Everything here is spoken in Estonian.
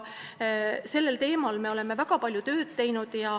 Sellel teemal me oleme väga palju tööd teinud.